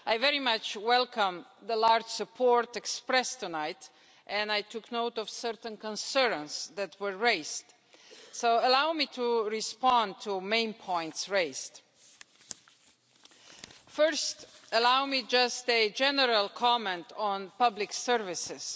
I very much welcome the broad support expressed tonight and I took note of certain concerns that were raised, so allow me to respond to the main points. First, a general comment on public services.